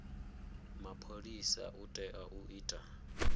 mapholisa u tea u ita